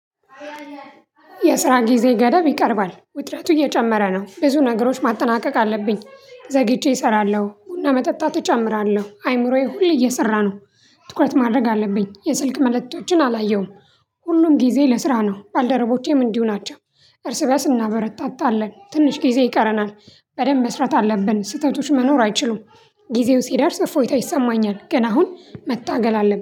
የስራ ጊዜ ገደብ ይቀርባል ውጥረቱ እየጨመረ ነው ብዙ ነገሮች ማጠናቀቅ አለብኝ ዘግይቼ እሰራለሁ ቡና መጠጣት እጨምራለሁ አይምሮዬ ሁሌ እየሰራ ነው። ትኩረት ማድረግ አለብኝ የስልክ መልእክቶችን አላየሁም። ሁሉም ጊዜ ለስራ ነው ባልደረቦቼም እንዲሁ ናቸው። እርስ በርስ እናበረታታለን ትንሽ ጊዜ ይቀረናል። በደንብ መስራት አለብን ስህተቶች መኖር አይችሉም። ጊዜው ሲደርስ እፎይታ ይሰማኛል ገና አሁን መታገል አለብን